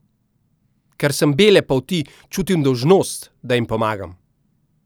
Ker sem bele polti, čutim dolžnost, da jim pomagam.